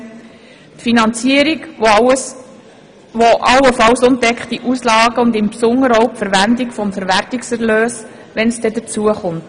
die Finanzierung allenfalls ungedeckter Auslagen und die Verwendung des Verwertungserlöses, wenn es dazu kommt.